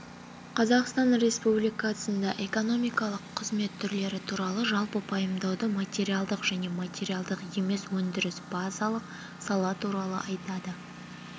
қазақстан республикасында экономикалық қызмет түрлері туралы жалпы пайымдауды материалдық және материалдық емес өндіріс базалық сала туралы атайды